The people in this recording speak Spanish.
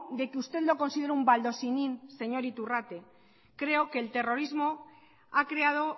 de que usted lo considere un baldosinín señor iturrate creo que el terrorismo ha creado